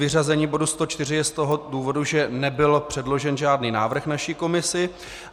Vyřazení bodu 104 je z toho důvodu, že nebyl předložen žádný návrh naší komisi.